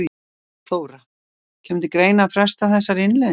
Þóra: Kemur til greina að fresta þessari innleiðingu?